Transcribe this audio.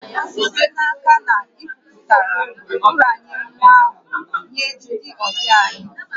Jide n'aka na ị kwupụtara nranye nwa ahụ nye ndị ọbịa anyị